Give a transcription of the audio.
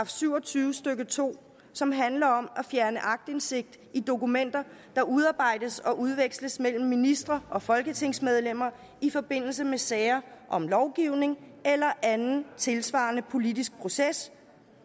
syv og tyve stykke to som handler om at fjerne aktindsigt i dokumenter der udarbejdes og udveksles mellem ministre og folketingsmedlemmer i forbindelse med sager om lovgivning eller anden tilsvarende politisk proces